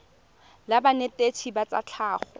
la banetetshi ba tsa tlhago